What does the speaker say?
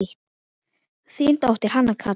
Þín dóttir, Hanna Katrín.